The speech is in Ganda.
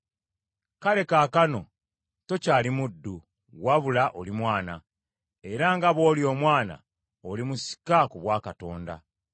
Kale kaakano tokyali muddu, wabula oli mwana; era nga bw’oli omwana oli musika ku bwa Katonda.